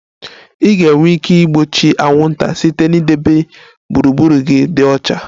Ị ga-enwe ike igbochi anwụnta site na idebe gburugburu gị dị ọcha